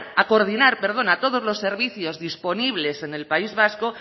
a coordinar perdón a todos los servicios disponibles en el país vasco